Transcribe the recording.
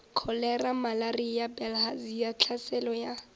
kholera malaria bilharzia tlhaselo ya